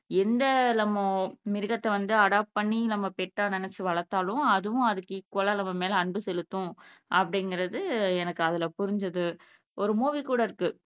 எந்த நம்ம மிருகத்தை வந்து அடாப் பண்ணி பெட்டா நினைச்சு வளர்த்தாலும் அதுவும் அதுக்கு ஈக்குவலா நம்ம மேல அன்பு செலுத்தும் அப்படிங்கிறது எனக்கு அதுல புரிஞ்சிது ஒரு மூவி கூட இருக்கு